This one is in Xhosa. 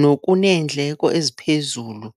nokuneendleko eziphezulu.